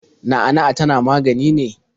Na'a na'a tana magani ne?